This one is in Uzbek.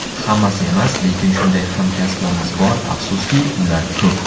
Hammasi emas, lekin shunday hamkasblarimiz bor, afsuski, ular ko‘p.